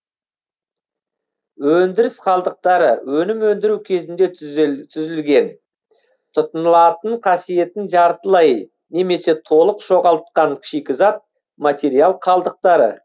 өндіріс қалдықтары өнім өндіру кезінде түзілген тұтынылатын қасиетін жартылай немесе толык жоғалтқан шикізат материал қалдықтары